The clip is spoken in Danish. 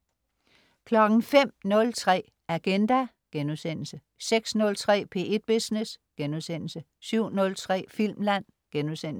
05.03 Agenda* 06.03 P1 Business* 07.03 Filmland*